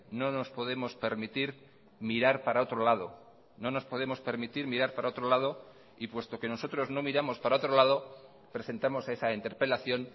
no nos podemos permitir mirar para otro lado no nos podemos permitir mirar para otro lado y puesto que nosotros no miramos para otro lado presentamos esa interpelación